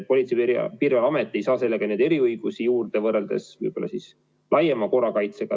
Politsei- ja Piirivalveamet ei saa võrreldes laiema korrakaitsega eriõigusi juurde.